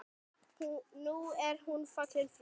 Nú er hún fallin frá.